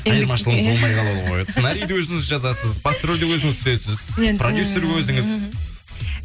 айырмашылығыңыз болмай қалады ғой сценариді өзіңіз жазасыз басты рольде өзіңіз түсесіз продюсер өзіңіз